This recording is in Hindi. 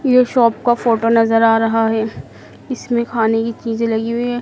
ये शॉप का फोटो नजर आ रहा है इसमें खाने की चीजें लगी हुई है।